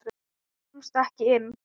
Kemstu ekki inn?